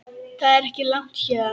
Það er ekki langt héðan.